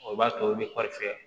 O b'a to u bɛ kɔɔri fɛ